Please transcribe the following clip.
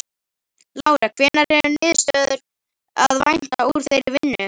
Lára: Hvenær er niðurstöðu að vænta úr þeirri vinnu?